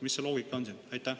Mis see loogika on siin?